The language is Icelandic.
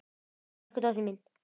Elsku dóttir mín.